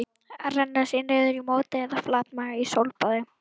Renna sér niður í móti eða flatmaga í sólbaði?